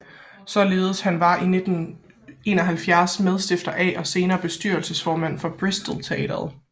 Således var han i 1971 medstifter af og senere bestyrelsesformand for Bristol Teatret